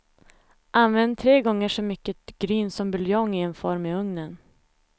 Använd tre gånger så mycket gryn som buljong i en form i ugnen.